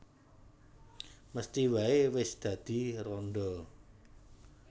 Mesthi waé wis dadi randha